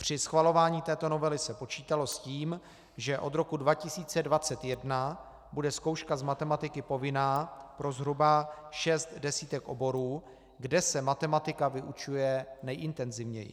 Při schvalování této novely se počítalo s tím, že od roku 2021 bude zkouška z matematiky povinná pro zhruba šest desítek oborů, kde se matematika vyučuje nejintenzivněji.